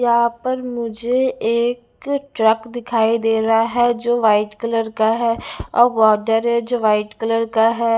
यहां पर मुझे एक ट्रक दिखाई दे रहा है जो व्हाइट कलर का है और बॉडर है जो व्हाइट कलर का है।